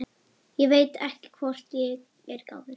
Ég veit ekki hvort ég er gáfuð.